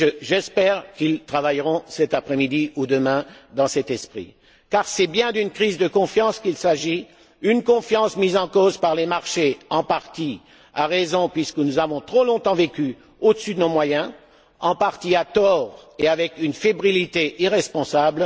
J'espère qu'ils travailleront cet après midi ou demain dans cet esprit, car c'est bien d'une crise de confiance qu'il s'agit, une confiance mise en cause par les marchés, en partie à raison, puisque nous avons trop longtemps vécu au dessus de nos moyens, en partie à tort et avec une fébrilité irresponsable.